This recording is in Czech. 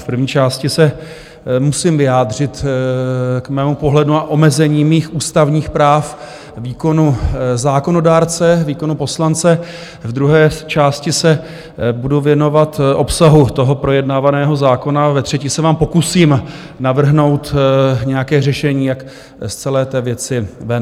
V první části se musím vyjádřit k mému pohledu na omezení mých ústavních práv, výkonu zákonodárce, výkonu poslance, v druhé části se budu věnovat obsahu toho projednávaného zákona, ve třetí se vám pokusím navrhnout nějaké řešení, jak z celé té věci ven.